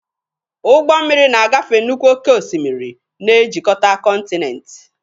Ụgbọ mmiri na-agafe nnukwu oke osimiri, na-ejikọta kọntinent.